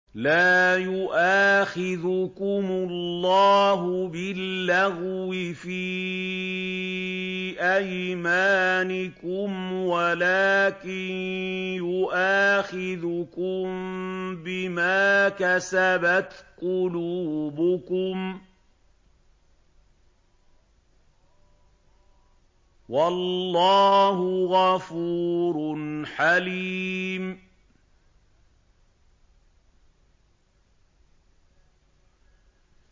لَّا يُؤَاخِذُكُمُ اللَّهُ بِاللَّغْوِ فِي أَيْمَانِكُمْ وَلَٰكِن يُؤَاخِذُكُم بِمَا كَسَبَتْ قُلُوبُكُمْ ۗ وَاللَّهُ غَفُورٌ حَلِيمٌ